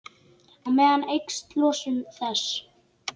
Á meðan eykst losun þess.